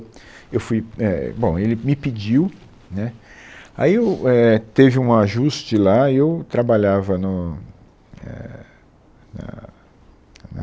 Eu fui, é, bom ele me pediu, né, aí eu, é, teve um ajuste lá, aí eu trabalhava no éh na